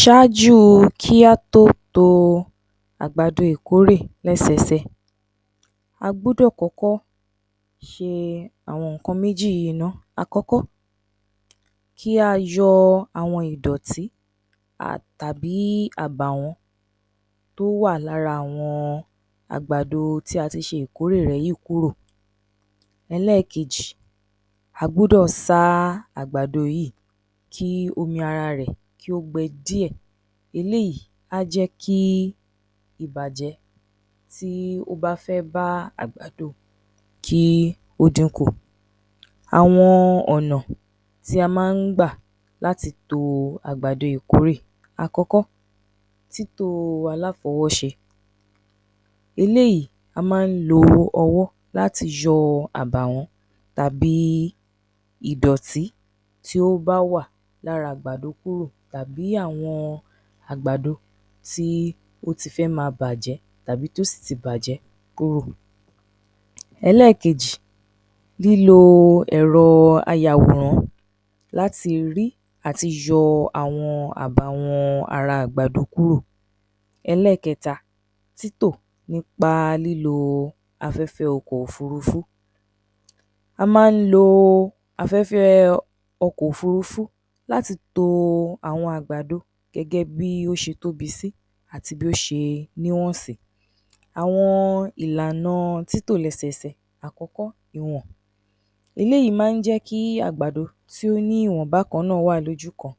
Ṣáájú kí á tó to àgbàdo ìkórè lẹ́sẹsẹ, a gbọ́dọ̀ kọ́kọ́ ṣe àwọn ǹnkan méjì yìí náà; àkọ́kọ́, kí a yọ àwọn ìdọ̀tí tàbí àbàwọn tó wà lára àwọn àgbàdo tí a ti ṣe ìkórè rẹ̀ yìí kúrò. Ẹlẹ́kejì, a gbọ́dọ̀ sá àgbàdo yìí kí omi ara rẹ̀ kí ó gbẹ díè, eléyìí á jẹ́ kí ìbàjẹ́ tí ó bá fẹ́ bá àgbàdo kí ó dínkù. Àwọn ọ̀nà tí a máa ń gbà láti to àgbàdo ìkórè. Àkọ́kọ́, títò aláfọwọ́ṣe, eléyìí a máa ń lo ọwọ́ láti yọ àbàwọ́n tàbí ìdọ̀tí tí ó bá wà lára àgbàdo kúrò tàbí àwọn àgbàdo tí ó ti fẹ́ máa bàjẹ́ tàbí tó sì ti bàjẹ́ kúrò. Ẹlẹ́kejì, lílo ẹ̀rọ ayàwòrán láti rí àti láti yọ àwọn àbàwọ́n ara àgbàdo kúrò. Ẹlẹ́kẹ̀ẹ́ta, títò nípa lílo afẹ́fẹ́ ọkọ̀-òfúrufú, a máa ń lo afẹ́fẹ́ ọkọ̀-òfúrufú láti to àwọn àgbàdo gẹ́gẹ́ bí ó ṣe tóbi sí àti bí ó ṣe níwọ̀n sí. Àwọn ìlànà títò lẹ́sẹsẹ, àkọ́kọ́; Ìwọ̀n, eléyìí máa ń jẹ́ kí àgbàdo tí ó ní ìwọ̀n bákan náà wà lójú kan.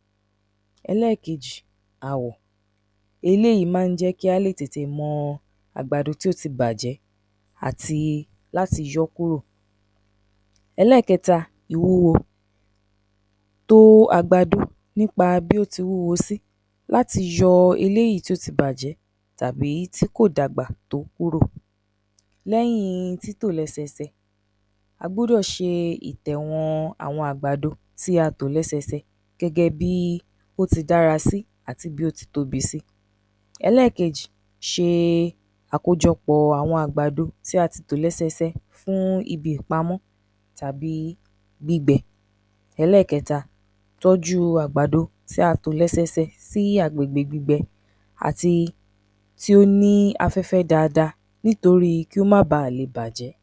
Ẹlẹ́kejì; Àwọ̀, eléyìí máa ń jẹ kí a lè tètè mọ̀ àgbàdo tí ó ti bàjẹ́ àti láti yọ́ kúrò. Ẹlẹ́kẹ̀ẹ́ta, Ìwúwo, to àgbàdo nípa bí ó ti wúwo sí, láti yọ eléyìí tó ti bàjẹ́ tàbí tí kò dàgbà tó kúrò. Lẹ́yìn títò lẹ́sẹsẹ, a gbọ́dọ̀ ṣe ìtẹ̀wọ̀n àwọn àgbàdo tí a ṣe, kí a tò ó lẹ́sẹsẹ gẹ́gẹ bí ó ti dára sí àti bí ó tí tóbi sí. Ẹlẹ́kejì, ṣe àkójọpọ̀ àwọn àgbàdo tí a ti tò lẹ́sẹsẹ fún ibi ìpamọ́ tábí gbígbẹ. Ẹlẹ́kẹ́ta, ìtọ́jú àgbàdo tí a tò lẹ́sẹsẹ sí agbègbè gbígbẹ àti tí ó ní afẹ́fẹ́ dáadáa nítorí kí ó máa bà lè bàjẹ́.